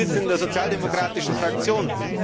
Sie sitzen in der sozialdemokratischen Fraktion.